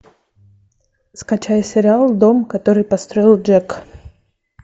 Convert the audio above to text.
скачай сериал дом который построил джек